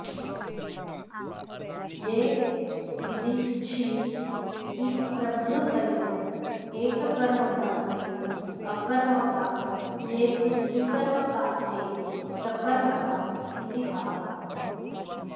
ये भिदिच्छिदिप्रभृतय एककर्मकान्ते अकर्मका ये तु द्विकर्मकास्ते सकर्मका इति भावः